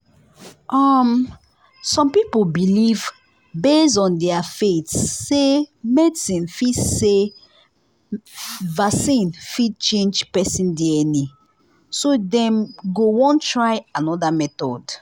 um some people believe base on their faith say vaccine fit say vaccine fit change person dna so them go won try another method